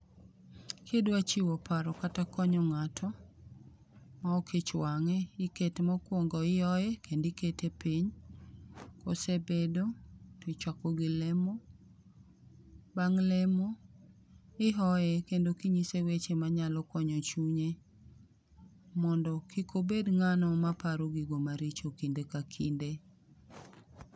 Kidwa chiwo paro kata konyo ng'ato, ma ok ich wang'e, ikete mokuongo ihoye, kendo iteke piny. Kosebedo, tichako gi lemo, bang' lemo ihoye kendo kinyise weche manyalo konyo chunye mondo kik obed ng'ano ma paro gigo maricho kinde ka kinde.